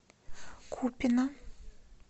купино